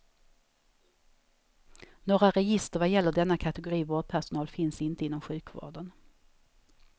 Några register vad gäller denna kategori vårdpersonal finns inte inom sjukvården.